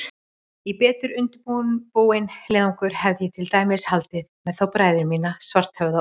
Í betur undirbúinn leiðangur hefði ég til dæmis haldið með þá bræður mína, Svarthöfða og